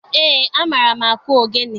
Eé, amaara m akụ ogene.